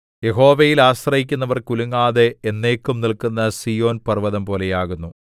യഹോവയിൽ ആശ്രയിക്കുന്നവർ കുലുങ്ങാതെ എന്നേക്കും നില്ക്കുന്ന സീയോൻപർവ്വതം പോലെയാകുന്നു